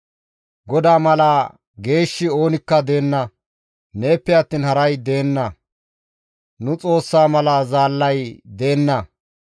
«GODAA mala geeshshi oonikka deenna; neeppe attiin haray deenna; nu Xoossaa mala Zaallay deenna.